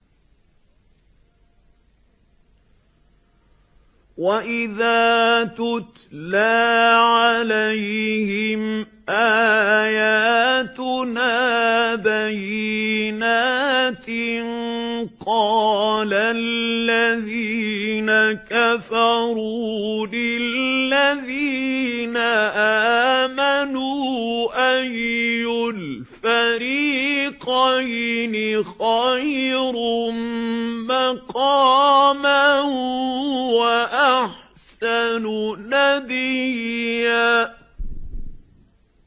وَإِذَا تُتْلَىٰ عَلَيْهِمْ آيَاتُنَا بَيِّنَاتٍ قَالَ الَّذِينَ كَفَرُوا لِلَّذِينَ آمَنُوا أَيُّ الْفَرِيقَيْنِ خَيْرٌ مَّقَامًا وَأَحْسَنُ نَدِيًّا